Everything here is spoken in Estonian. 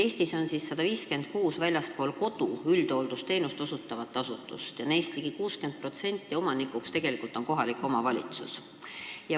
Eestis on 156 väljaspool kodu üldhooldusteenust osutavat asutust ja neist ligi 60% omanik on tegelikult kohalik omavalitsus.